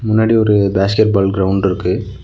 முன்னாடி ஒரு basketball ground இருக்கு.